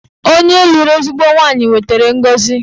Onye lụrụ ezigbo nwaanyị wetara ngọzi